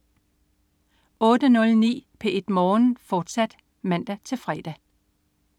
08.09 P1 Morgen, fortsat (man-fre)